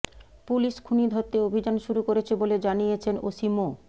police খুনি ধরতে অভিযান শুরু করেছে বলে জানিয়েছেন ওসি মো